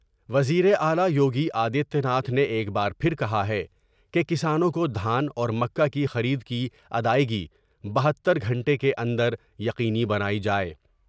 وزیراعلی یوگی آدتیہ ناتھ نے ایک بار پھر کہا ہے کہ کسانوں کو دھان اور مکا کی خرید کی ادائیگی بہتر گھنٹے کے اندر یقینی بنائی جائے ۔